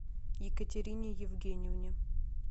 екатерине евгеньевне